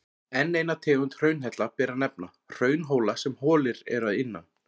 Enn eina tegund hraunhella ber að nefna, hraunhóla sem holir eru innan.